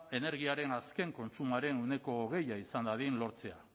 energiaren azken kontsumoaren ehuneko hogei izan dadin lortzea